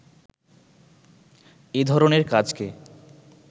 এধরণের কাজকে